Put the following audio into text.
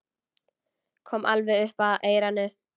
Kom alveg upp að eyranu.